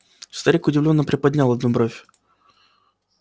старик удивлённо приподнял одну бровь